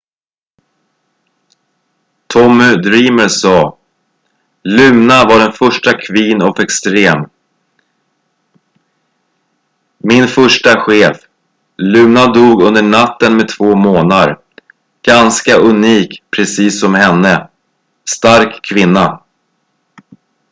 "tommy dreamer sa "luna var den första queen of extreme. min första chef. luna dog under natten med två månar. ganska unik precis som henne. stark kvinna.""